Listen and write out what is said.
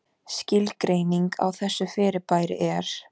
Skilgreining á þessu fyrirbæri er: